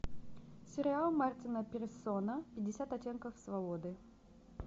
сериал мартина пирсона пятьдесят оттенков свободы